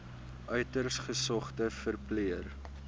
uiters gesogde verpleër